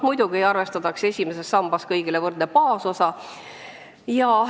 Muidugi arvestatakse esimeses sambas kõigile võrdne baasosa.